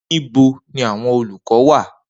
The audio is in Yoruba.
Nibo ni awọn olukọ wa?